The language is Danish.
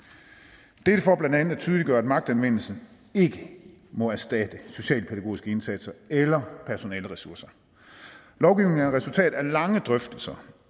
dette er for blandt andet at tydeliggøre at magtanvendelse ikke må erstatte socialpædagogiske indsatser eller personaleressourcer lovgivningen er resultat af lange drøftelser